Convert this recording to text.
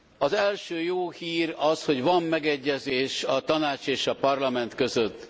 Az első jó hír az, hogy van megegyezés a Tanács és a Parlament között.